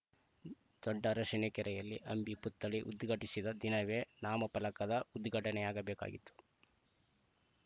ದೊಡ್ಡ ಅರಸಿನಕೆರೆಯಲ್ಲಿ ಅಂಬಿ ಪುತ್ಥಳಿ ಉದ್ಘಾಟಿಸಿದ ದಿನವೇ ನಾಮಫಲಕದ ಉದ್ಘಾಟನೆಯಾಗಬೇಕಾಗಿತ್ತು